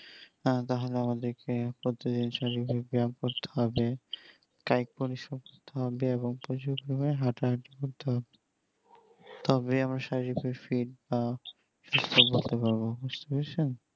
তাহলে আমাদেরকে প্রতিদিন শারীরিক ব্যায়াম করতে হবে তাই পরিশ্রম করতে হবে এবং প্রচুর পরিমানে হাটা হাটি করতে হবে তবে আমরা শারীরিক fit বা সুস্থ হতে পারবে বুজছেন